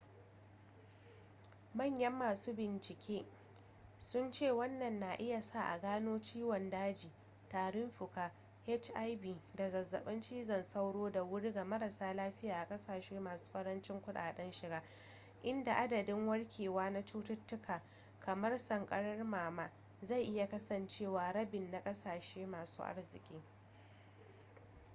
manyan masu bincike sun ce wannan na iya sa a gano ciwon daji tarin fuka hiv da zazzaɓin cizon sauro da wuri ga marasa lafiya a ƙasashe masu ƙarancin kuɗaɗen shiga inda adadin warkewa na cututtuka kamar sankarar nono zai iya kasancewa rabin na ƙasashe masu arziki